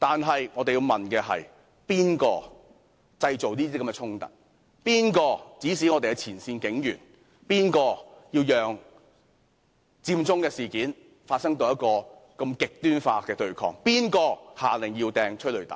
不過，我們要問：是誰製造這些衝突；是誰指示我們的前線警員；是誰讓佔中事件發展至如此極端化的對抗；是誰下令發射催淚彈？